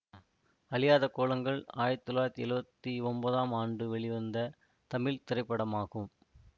அழியாத கோலங்கள் ஆயிரத்தி தொள்ளாயிரத்தி எழுவத்தி ஒன்பதாம் ஆண்டு வெளிவந்த தமிழ் திரைப்படமாகும்